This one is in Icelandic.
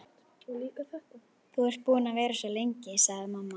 Þú ert búin að vera svo lengi, sagði mamma.